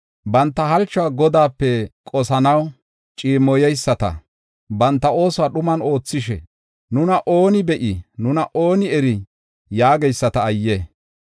Banta halchuwa Godaape qosanaw ciimmoyeyisata, banta oosuwa dhuman oothishe, “Nuna ooni be7ii? Nuna ooni erii?” yaageyisata ayye!